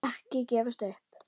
Ekki gefast upp!